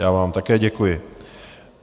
Já vám také děkuji.